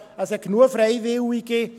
Es gibt genug Freiwillige.